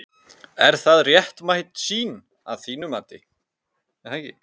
Er það réttmæt sýn að þínu mati?